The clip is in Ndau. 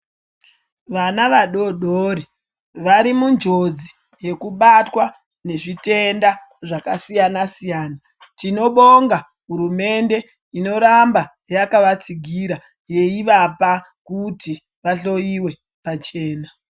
Vana vadodori vari munjodzi yeku batwa ne zvitenda zvaka siyana siyana tino bonga hurumende ino ramba yakava tsigira yei vapa kuti va hloyiwe pachena.